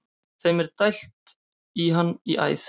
Þeim er dælt í hann í æð.